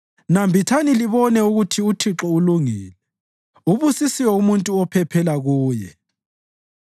Nambithani libone ukuthi uThixo ulungile; ubusisiwe umuntu ophephela Kuye.